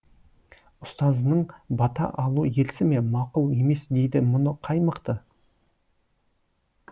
ұстазыңнан бата алу ерсі ме мақұл емес дейді мұны қай мықты